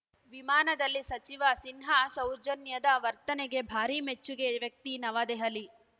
ವಿಮಾನದಲ್ಲಿ ಸಚಿವ ಸಿನ್ಹಾ ಸೌಜನ್ಯದ ವರ್ತನೆಗೆ ಭಾರೀ ಮೆಚ್ಚುಗೆ ವ್ಯಕ್ತಿ ನವದೆಹಲಿ